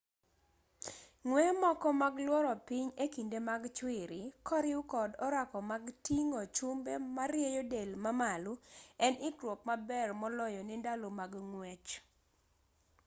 ng'weye moko mag luoro piny e kinde mag chwiri koriw kod orako mag ting'o chumbe marieyo del mamalo en ikruok maber moloyo ne ndalo mag ng'wech